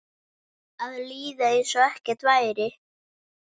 Að líða einsog ekkert væri.